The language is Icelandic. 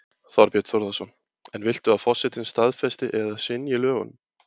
Þorbjörn Þórðarson: En viltu að forsetinn staðfesti eða synji lögunum?